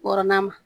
Wɔrɔnan ma